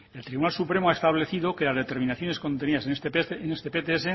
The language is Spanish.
el tribunal supremo ha establecido que las determinaciones contenidas en este pts